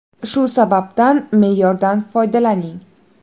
Shu sababdan me’yorda foydalaning.